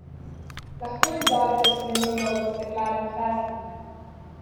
Lahko izzovete spremembo v Steklarni Hrastnik?